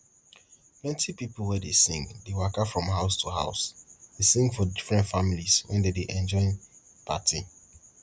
plenty pipo wey dey sing dey waka from house to house dey sing for different families when dem dey enjoy party